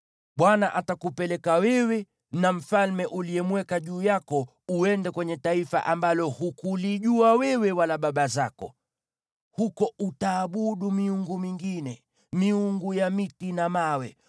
Bwana atakupeleka wewe na mfalme uliyemweka juu yako uende kwenye taifa ambalo hukulijua wewe wala baba zako. Huko utaabudu miungu mingine, miungu ya miti na mawe.